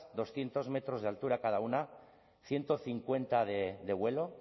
doscientos metros de altura cada una ciento cincuenta de vuelo